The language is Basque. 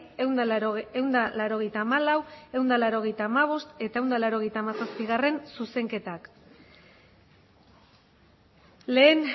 ehun eta laurogeita hamalau ehun eta laurogeita hamabost eta ehun eta laurogeita hamazazpigarrena zuzenketak lehen